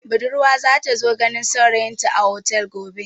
Budurwa za ta zo ganin saurayinta a otel gobe.